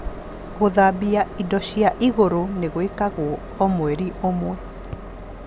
Gũthambia indo cia igũrũ nĩ gwĩkagwo o mweri ũmwe